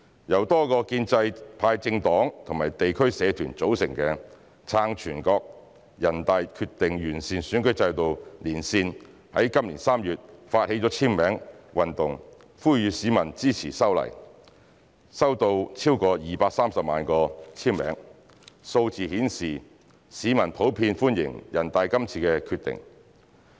由多個建制派政黨及地區社團組成的"撐全國人大決定完善選舉制度連線"在今年3月發起簽名運動呼籲市民支持修例，收到超過230萬個簽名，數字顯示市民普遍歡迎全國人大的《決定》。